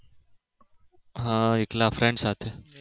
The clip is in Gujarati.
હા એકલા friend સાથે